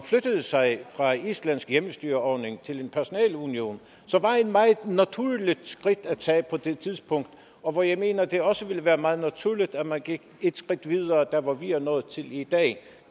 sig fra en islandsk hjemmestyreordning til en personalunion som var et meget naturligt skridt at tage på det tidspunkt og hvor jeg mener at det også ville være meget naturligt at man gik et skridt videre der hvor vi er nået til i dag